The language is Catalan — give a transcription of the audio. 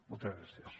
moltes gràcies